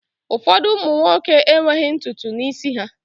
Ụfọdụ ụmụ nwoke enweghị ntutu n'isi ha